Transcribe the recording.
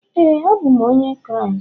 Éè, abụ m onye Kraịst